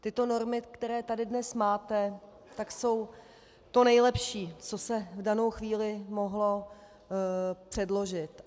Tyto normy, které tady dnes máte, tak jsou to nejlepší, co se v danou chvíli mohlo předložit.